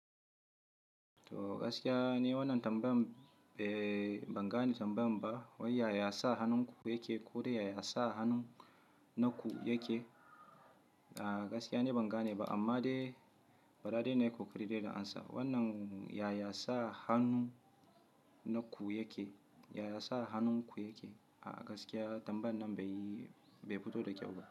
To gaskiya ne wannan tambayan, eh ban gane tambayan ba. Yaya ya sa hannunku yake ko da ya ya sa hannun na ku yake? A'a gaskiya ne ban gane ba amma dai faɗa dai na yi kokari da yana amsa. Wannan yaya sa hannun na ku yake, yaya sa hannunku yake. A'a gaskiya tambayan nan bai fito da kyau ba.